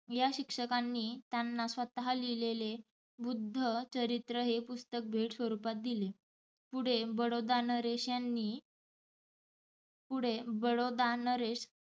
या शिक्षकांनी त्यांना स्वतः लिहीलेले ’बुध्द चरित्र’ हे पुस्तक भेट स्वरूपात दिले. पुढे बडौदा नरेशांनी पुढे बडोदानरेश